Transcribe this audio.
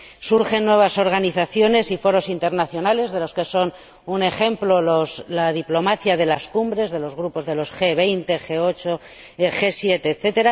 Surgen nuevas organizaciones y foros internacionales, de los que son un ejemplo la diplomacia de las cumbres de los grupos de los G 20, G 8, G 7, etc.,